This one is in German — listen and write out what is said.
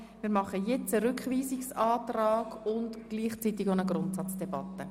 Wir diskutieren jetzt den Rückweisungsantrag und führen gleichzeitig eine Grundsatzdebatte.